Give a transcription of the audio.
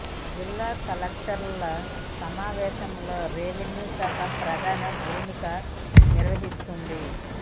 జిల్లా కలెక్టర్ల సమా వేశంలో రెవెన్యూ శాఖ ప్రధాన భూమిక నిర్వహిస్తుంది